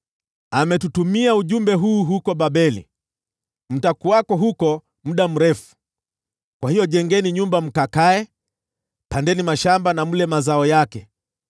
Ametutumia ujumbe huu huku Babeli: Mtakuwako huko muda mrefu. Kwa hiyo jengeni nyumba mkakae; pandeni mashamba na mle mazao yake.’ ”